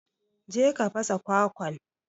je ka fasa kwakwan.